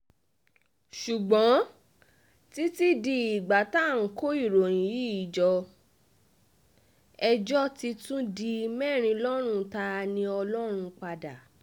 ṣùgbọ́n títí di ìgbà tá à ń kó ìròyìn yìí jọ ẹjọ́ ti tún di mẹ́rin lọ́rùn ta-ni-ọlọ́run padà